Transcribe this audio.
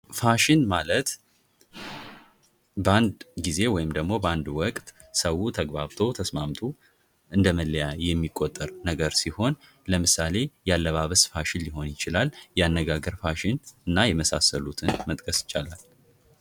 ፋሽን ማለት በአንድ ጊዜ ወይም ደሞ በአንድ ወቅት ሰው ተግባብቶ ተስማምቶ እንደመለያ የሚቆጠር ነገር ሲሆን ለምሳሌ የአለባበስ ፋሽን ሊሆን ይችላል ያነጋገር እና የመሳሰሉትን መጥቀስ ይቻላል።